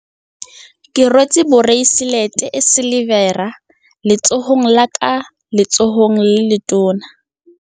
Ke rwetse boreiselete e silivera letsohong la ka le letsohong le letona.